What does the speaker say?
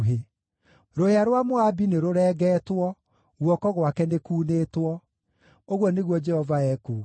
Rũhĩa rwa Moabi nĩrũrengetwo; guoko gwake nĩ kuunĩtwo,” ũguo nĩguo Jehova ekuuga.